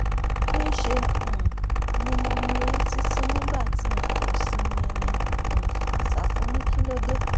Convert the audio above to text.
níṣẹ́ um ni mo mirí títì nígbà tí n kò sinmi ní um ṣáfù ní kí ló dé